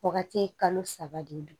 Wagati kalo saba de don